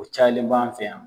O cayalen b'an fɛ yan.